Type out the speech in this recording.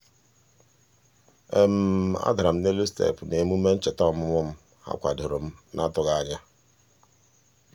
a dara m n'elu steepụ n'emume ncheta ọmụmụ m ha kwadoro m n'atụghị anya.